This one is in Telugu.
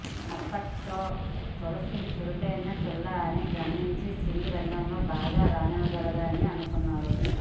అప్పట్లో తులసి చురుకైన పిల్ల అని గమనించి సినీరంగములో బాగా రాణించగలదని అనుకున్నారు